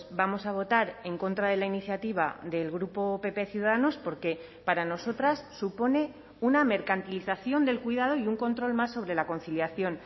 vamos a votar en contra de la iniciativa del grupo pp ciudadanos porque para nosotras supone una mercantilización del cuidado y un control más sobre la conciliación